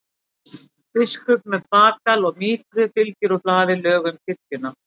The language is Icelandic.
Biskup með bagal og mítru fylgir úr hlaði lögum kirkjunnar.